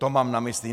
To mám na mysli.